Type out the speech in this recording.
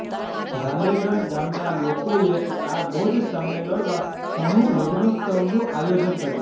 રાલેગન ગામના લોકોએ આ બોજ સામે લડવા સમૂહ લગનોત્સવનું આયોજન કર્યું